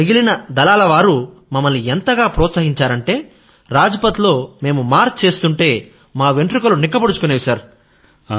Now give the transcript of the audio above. మిగిలిన దళాలవారు మమ్మల్ని ఎంతగా ప్రోత్సహించారంటే రాజ్ పథ్ లో మేము మార్చ్ చేస్తూంటే మా వెంట్రుకలు నిక్కబొడుచుకునేవి సర్